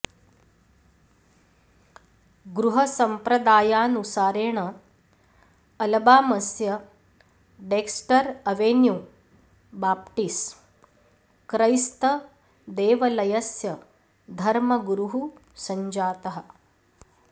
गृहसम्प्रदायानुसारेण अलबामस्य Dexter Avenue Baptist क्रैस्तदेवलयस्य धर्मगुरुः सञ्जातः